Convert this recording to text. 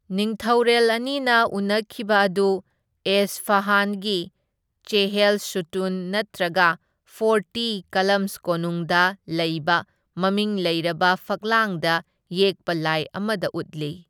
ꯅꯤꯡꯊꯧꯔꯦꯜ ꯑꯅꯤꯅ ꯎꯅꯈꯤꯕ ꯑꯗꯨ ꯑꯦꯁꯐꯍꯥꯟꯒꯤ ꯆꯦꯍꯦꯜ ꯁꯨꯇꯨꯟ ꯅꯠꯇ꯭ꯔꯒ ꯐꯣꯔꯇꯤ ꯀꯂꯝꯁ ꯀꯣꯅꯨꯡꯗ ꯂꯩꯕ ꯃꯃꯤꯡ ꯂꯩꯔꯕ ꯐꯛꯂꯥꯡꯗ ꯌꯦꯛꯄ ꯂꯥꯏ ꯑꯃꯗ ꯎꯠꯂꯤ꯫